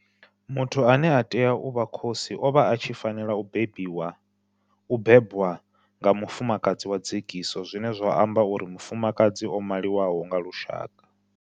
Muthu ane a tea u vha khosi o vha a tshi fanela u bebwa nga mufumakadzi wa dzekiso zwine zwa amba uri mufumakadzi o maliwaho nga lushaka.